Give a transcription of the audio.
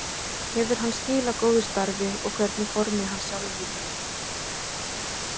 Hefur hann skilað góðu starfi og hvernig formi er hann sjálfur í?